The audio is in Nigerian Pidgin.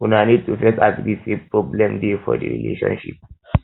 una need to first agree sey problem dey for di relationship